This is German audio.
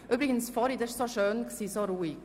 – Vorhin war es so schön ruhig.